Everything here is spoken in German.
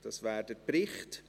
Das ist der Bericht.